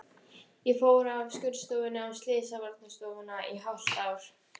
Ég fór af skurðstofunni á slysavarðstofuna í hálft ár.